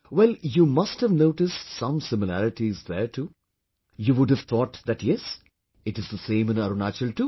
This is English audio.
Well, you must have noticed some similarities there too, you would have thought that yes, it is the same in Arunachal too